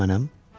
Bəli mənəm.